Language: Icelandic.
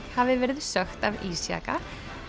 hafi verið sökkt af ísjaka